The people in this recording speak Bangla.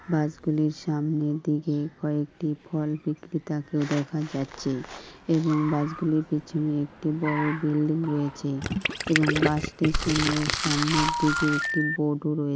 বাস গুলির সামনের দিকে কয়েকটি ফল বিক্রেতাকেও দেখা যাচ্ছে এবং বাসগুলোর পিছনে একটি বড়ো বিল্ডিং রয়েছে। এবং বাস স্টেশন এর সামনের দিকে একটি বোর্ড ও রয়ে--